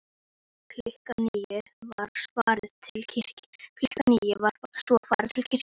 Klukkan níu var svo farið til kirkju.